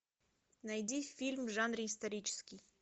найди фильм в жанре исторический